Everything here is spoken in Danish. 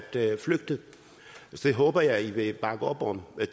flygte det håber jeg i vil bakke op om